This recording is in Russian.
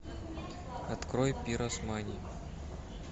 открой пиросмани